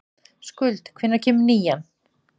Skuld, hvenær kemur nían?